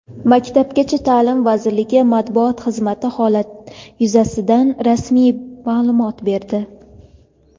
Maktabgacha ta’lim vazirligi Matbuot xizmati holat yuzasidan rasmiy ma’lumot berdi.